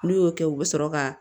N'u y'o kɛ u bɛ sɔrɔ ka